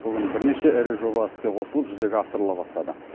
бүгін бірнеше ірі жоба іске қосылып жүзеге асырыла бастады